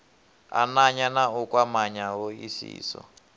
ananya na u kwamanya hoisiso